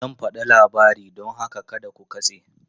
Zan ba da labari don haka kada ku katse!